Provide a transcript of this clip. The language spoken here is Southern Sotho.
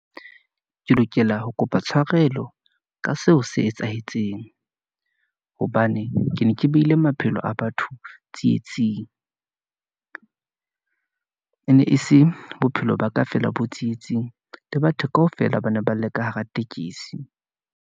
Ke lokela ho kopa tshwarelo ka seo se etsahetseng , hobane ke ne ke beile maphelo a batho tsietsing , ene e se bophelo ba ka feela bo tsietsing, le batho kaofela, ba ne ba le ka hara tekesi.